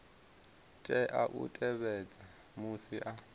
tea u tevhedza musi a